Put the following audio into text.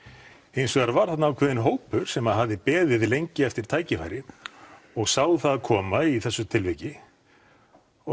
hins vegar var þarna ákveðinn hópur sem að hafði beðið lengi eftir tækifæri og sá það koma í þessu tilviki og